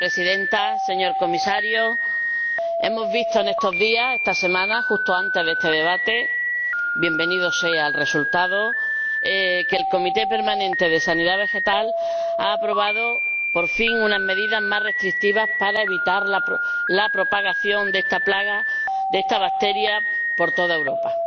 Señora Presidenta señor Comisario, hemos visto en estos días, esta semana, justo antes de este debate ―bienvenido sea el resultado― que el Comité permanente de sanidad vegetal ha aprobado por fin unas medidas más restrictivas para evitar la propagación de esta plaga, de esta bacteria por toda Europa.